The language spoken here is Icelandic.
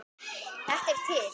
Þetta er til.